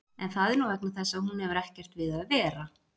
En það er nú vegna þess að hún hefur ekkert við að vera.